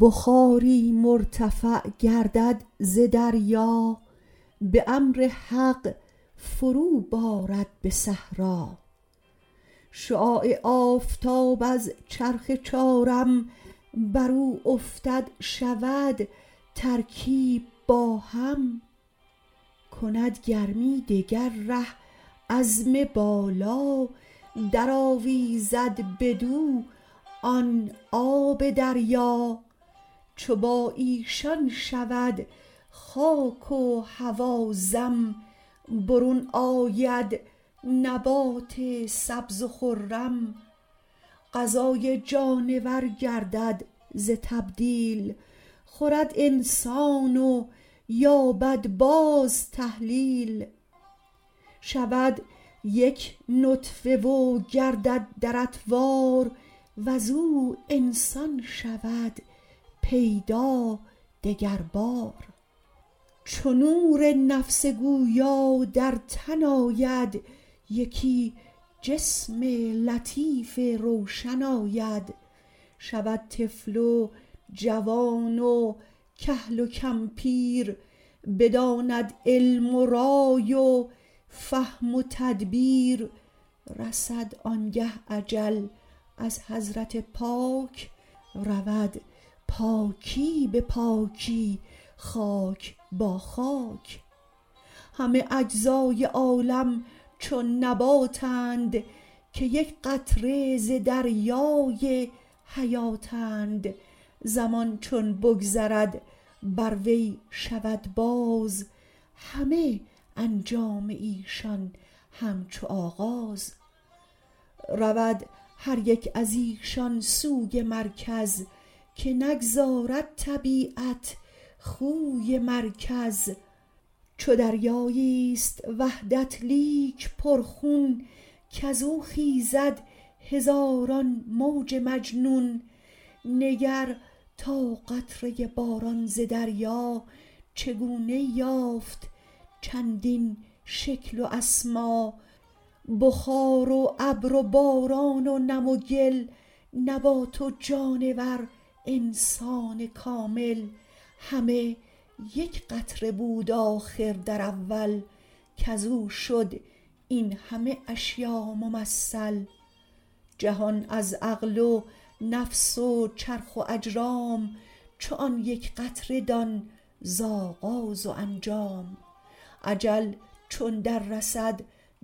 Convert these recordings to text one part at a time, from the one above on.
بخاری مرتفع گردد ز دریا به امر حق فرو بارد به صحرا شعاع آفتاب از چرخ چارم بر او افتد شود ترکیب با هم کند گرمی دگر ره عزم بالا در آویزد بدو آن آب دریا چو با ایشان شود خاک و هوا ضم برون آید نبات سبز و خرم غذای جانور گردد ز تبدیل خورد انسان و یابد باز تحلیل شود یک نطفه و گردد در اطوار وز او انسان شود پیدا دگر بار چو نور نفس گویا در تن آید یکی جسم لطیف روشن آید شود طفل و جوان و کهل و کمپیر بداند علم و رای و فهم و تدبیر رسد آنگه اجل از حضرت پاک رود پاکی به پاکی خاک با خاک همه اجزای عالم چون نباتند که یک قطره ز دریای حیاتند زمان چون بگذرد بر وی شود باز همه انجام ایشان همچو آغاز رود هر یک از ایشان سوی مرکز که نگذارد طبیعت خوی مرکز چو دریایی است وحدت لیک پر خون کز او خیزد هزاران موج مجنون نگر تا قطره باران ز دریا چگونه یافت چندین شکل و اسما بخار و ابر و باران و نم و گل نبات و جانور انسان کامل همه یک قطره بود آخر در اول کز او شد این همه اشیا ممثل جهان از عقل و نفس و چرخ و اجرام چو آن یک قطره دان ز آغاز و انجام اجل چون در رسد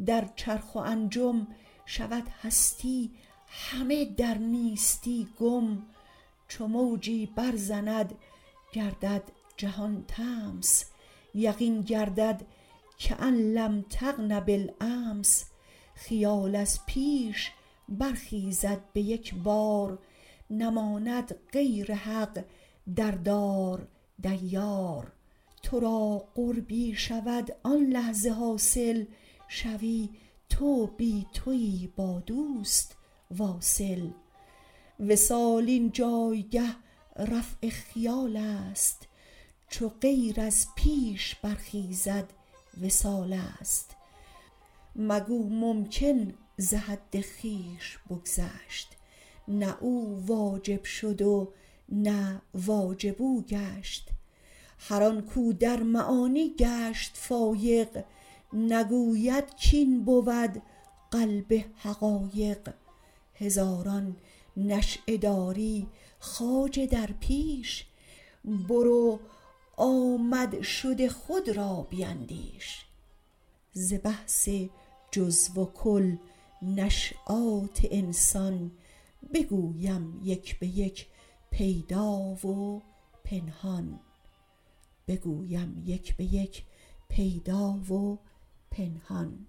در چرخ و انجم شود هستی همه در نیستی گم چو موجی بر زند گردد جهان طمس یقین گردد کأن لم تغن بالأمس خیال از پیش برخیزد به یک بار نماند غیر حق در دار دیار تو را قربی شود آن لحظه حاصل شوی تو بی تویی با دوست واصل وصال این جایگه رفع خیال است چو غیر از پیش برخیزد وصال است مگو ممکن ز حد خویش بگذشت نه او واجب شد و نه واجب او گشت هر آن کو در معانی گشت فایق نگوید کین بود قلب حقایق هزاران نشأه داری خواجه در پیش برو آمد شد خود را بیندیش ز بحث جزو و کل نشیآت انسان بگویم یک به یک پیدا و پنهان